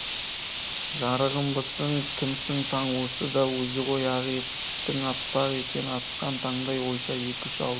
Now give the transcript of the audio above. жарығымбысың кімсің таң осы да өзі ғой ақ етің аппақ екен атқан таңдай ойша екі-үш ауыз